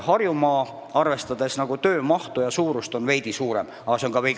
Harjumaal on see, arvestades töömahtu, veidi suurem, aga väga veidi.